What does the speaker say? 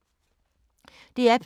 DR P2